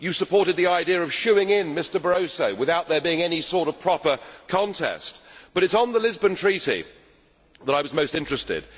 You supported the idea of shooing in Mr Barroso without there being any sort of proper contest, but it is on the Lisbon Treaty that I was most interested.